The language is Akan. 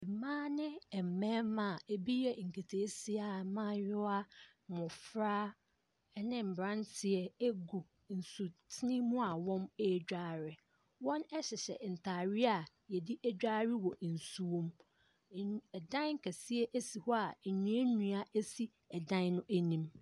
Mmaa ne mmarima a ebi yɛ nketeesia mmaayewa, mmofra ne mmranteɛ egu nsuten mu a wɔredware. Wɔhyehyɛ ntaare a yɛde dware wɔ nsuom. Dan kɛseɛ si hɔ a nnua nnua si dan no anim.